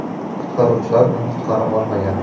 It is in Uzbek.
Qutqaruvchilar uni qutqara olmagan.